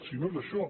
si no és això